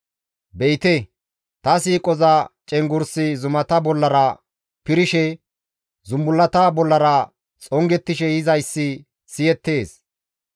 Be7ite! Ta siiqoza cenggurssi zumata bollara pirishe, zumbullata bollara xongettishe yizayssi siyettees.